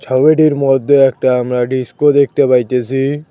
হাইওটির মধ্যে একটা আমরা ডিসকো দেখতে পাইতেছি।